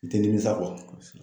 I tɛ nimisa